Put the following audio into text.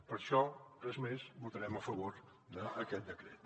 per això res més votarem a favor d’aquest decret